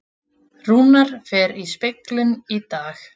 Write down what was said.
Rúnar fer í speglun í dag